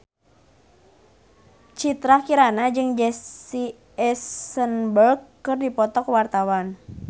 Citra Kirana jeung Jesse Eisenberg keur dipoto ku wartawan